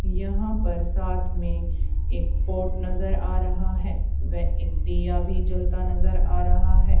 यहां पर साथ में एक पॉट नजर आ रहा है व एक दिया भी जलता हुआ नजर आ रहा है।